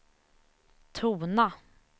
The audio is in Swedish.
tona